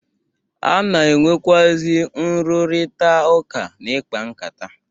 A na-enwekwụazị nrụrita ụka na ikpa nkata.